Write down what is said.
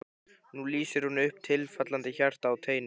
Nú lýsir hún upp tifandi hjarta á teini.